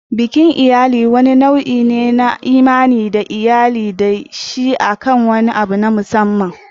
Bikin iyali wani nau'i ne na imani da iyali ke da shi akan wani abu na musamman.